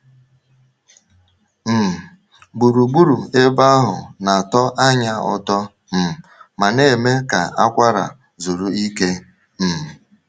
um Gburugburu ebe ahụ na-atọ anya ụtọ um ma na-eme ka akwara zuru ike. um